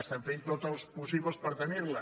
estan fent tot els possibles per tenir la